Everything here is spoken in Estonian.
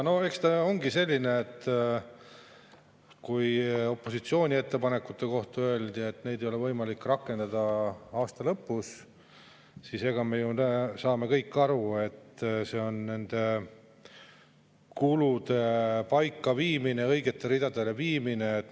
No eks see ongi nii, et kui opositsiooni ettepanekute kohta öeldi, et neid ei ole võimalik rakendada aasta lõpus, siis me kõik ju saame aru, et see on kulude paika viimine, õigete ridadele viimine.